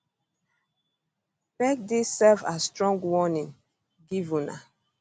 make dis serve as strong warning give una